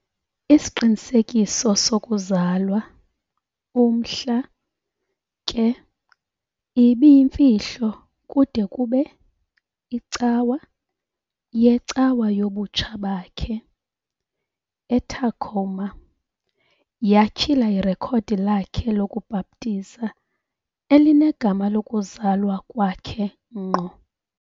isiqinisekiso sokuzalwa, umhla, ke, ibiyimfihlo kude kube, icawa, yecawa yobutsha bakhe, e-Tacoma, yatyhila irekhodi lakhe lokubhaptiza elinegama lokuzalwa kwakhe ngqo.